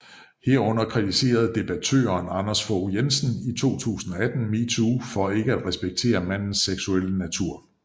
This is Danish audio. Herunder kritiserede debattøren Anders Fogh Jensen i 2018 MeToo for ikke at respektere mandens seksuelle natur